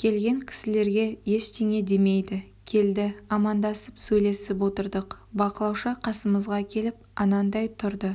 келген кісілерге ештеңе демейді келді амандасып сөйлесіп отырдық бақылаушы қасымызға келіп анандай тұрды